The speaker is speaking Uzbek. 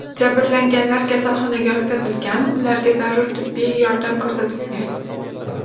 Jabrlanganlar kasalxonaga yotqizilgan, ularga zarur tibbiy yordam ko‘rsatilgan.